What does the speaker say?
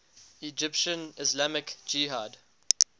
egyptian islamic jihad